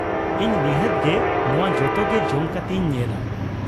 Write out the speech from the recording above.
ᱤᱧ ᱱᱤᱷᱟᱹᱛ ᱜᱮ ᱱᱚᱶᱟ ᱡᱚᱛᱚ ᱜᱮ ᱡᱚᱢ ᱠᱟᱛᱮ ᱤᱧ ᱧᱮᱞᱟ ᱾